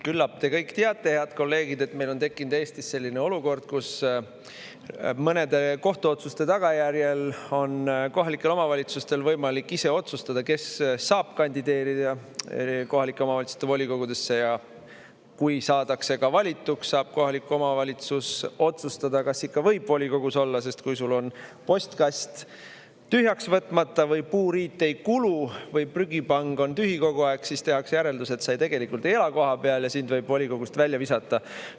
Küllap te kõik teate, head kolleegid, et meil on tekkinud Eestis selline olukord, kus mõnede kohtuotsuste tagajärjel on kohalikel omavalitsustel võimalik ise otsustada, kes saab kandideerida kohalike omavalitsuste volikogudesse, ja kui saadakse ka valituks, saab kohalik omavalitsus otsustada, kas ikka võib volikogus olla, sest kui sul on postkast tühjaks võtmata või puuriit ei kulu või prügipang on tühi kogu aeg, siis tehakse järeldus, et sa tegelikult ei ela kohapeal ja sind võib volikogust välja visata.